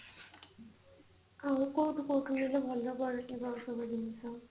ଆଉ କୋଊଠୁ କୋଊଠୁ ନେଲେ ଭଲ ପଡିଯିବ ଆଉ ସବୁ ଜିନିଷ